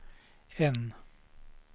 N